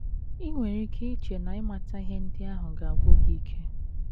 I nwere ike iche na ịmata ihe ndị ahụ ga - agwụ gị ike.